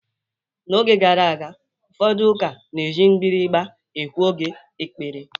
N'oge gara aga, ụfọdụ ụka na-eji mgbịrịgba ekwu oge ekpere.